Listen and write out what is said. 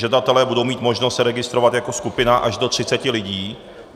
Žadatelé budou mít možnost se registrovat jako skupina až do 30 lidí.